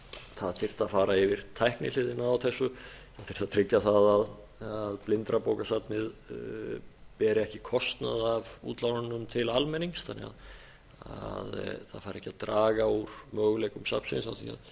það þyrfti að fara yfir tæknihliðina á þessu til að tryggja það að blindrabókasafnið beri ekki kostnað af útlánunum til almennings þannig að það fari ekki að draga úr möguleikum safninu til að